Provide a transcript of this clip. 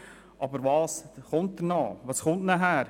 Aber was folgt danach?